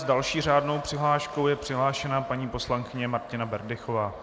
S další řádnou přihláškou je přihlášena paní poslankyně Martina Berdychová.